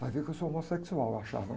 Vai ver que eu sou homossexual, eu achava.